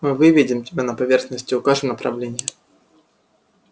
мы выведем тебя на поверхность и укажем направление